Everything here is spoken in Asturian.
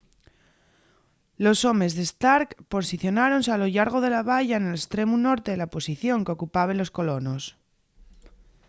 los homes de stark posicionáronse a lo llargo de la valla nel estremu norte de la posición qu’ocupaben los colonos